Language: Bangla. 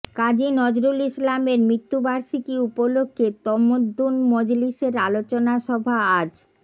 কাজী নজরুল ইসলামের মৃত্যুবার্ষিকী উপলক্ষে তমদ্দুন মজলিসের আলোচনা সভা আজ